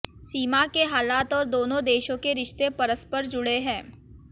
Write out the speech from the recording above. सीमा के हालात और दोनों देशों के रिश्ते परस्पर जुड़े हैं